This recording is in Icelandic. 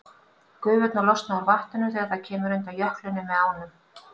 Gufurnar losna úr vatninu þegar það kemur undan jöklinum með ánum.